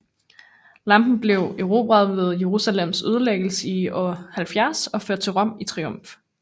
Lampen blev erobret ved Jerusalems ødelæggelse i år 70 og ført til Rom i triumf